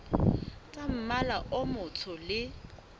tsa mmala o motsho le